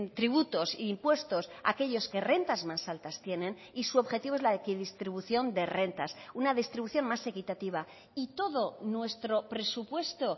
tributos e impuestos aquellos que rentas más altas tienen y su objetivo es la equidistribución de rentas una distribución más equitativa y todo nuestro presupuesto